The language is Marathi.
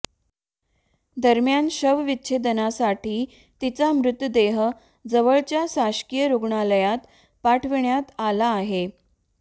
दरम्यान शवविच्छेदनासाठी तिचा मृतदेह जवळच्या शासकीय रुग्णालयात पाठविण्यात आला आहे